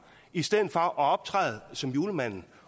i stedet for at optræde som julemanden